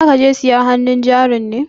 Za ka je sayan hannun jarin ne?